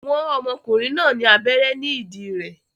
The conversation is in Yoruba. Wọ́n ọmọkùnrin náà ní abẹ́rẹ́ ní ìdí rẹ̀